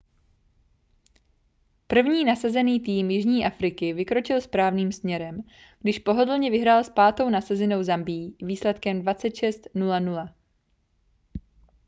první nasazený tým jižní afriky vykročil správným směrem když pohodlně vyhrál s pátou nasazenou zambií výsledkem 26-00